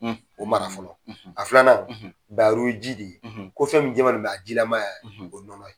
O mara fɔlɔ a filanan wo ji de ko fɛn min jɛman don jilaman y'a ye o ye nɔnɔ ye.